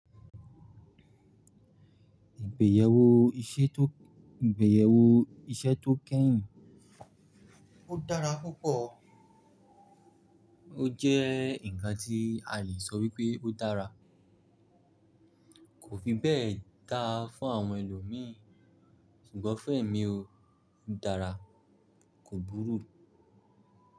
Ìgbéyewó iṣẹ́ tó, ìgbéyewó iṣẹ́ tó kẹ́yìn ó dára púpọ̀ó o jẹ́ ǹkan tí a le sọ wípé ó dára, kò fibẹ́ẹ̀ dá fún àwọn ẹlòmíi ṣùgbọ́n f'ẹ́mi oo, ó dára kò búruù.